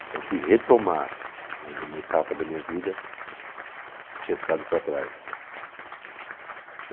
Então fui retomar né, uma etapa da minha vida que tinha ficado para trás.